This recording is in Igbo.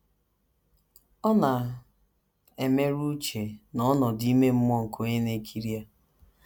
Ọ na - emerụ uche na ọnọdụ ime mmụọ nke onye na - ekiri ya.